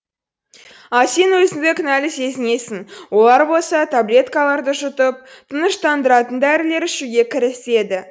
ал сен өзіңді кінәлі сезінесің олар болса таблеткаларды жұтып тыныштандыратын дәрілер ішуге кіріседі